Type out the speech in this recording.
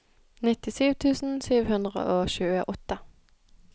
nittisju tusen sju hundre og tjueåtte